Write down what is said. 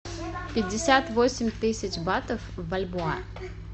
пятьдесят восемь тысяч батов в бальбоа